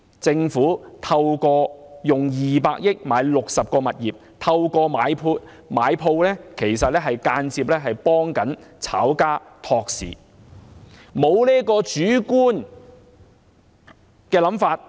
政府以200億元購買60個物業，透過買鋪間接幫炒家托市。